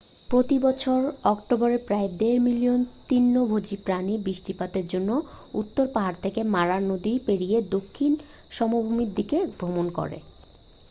প্রতি বছর অক্টোবরে প্রায় দেড় মিলিয়ন তৃণভোজী প্রাণী বৃষ্টিপাতের জন্য উত্তর পাহাড় থেকে মারা নদী পেরিয়ে দক্ষিণ সমভূমির দিকে ভ্রমণ করে